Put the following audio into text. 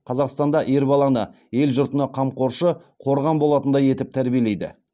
қазақстанда ер баланы ел жұртына қамқоршы қорған болатындай етіп тәрбиелейді